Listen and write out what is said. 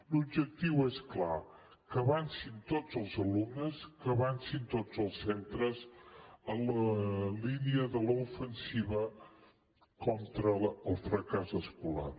l’objectiu és clar que avancin tots els alumnes que avancin tots els centres en la línia de l’ofensiva contra el fracàs escolar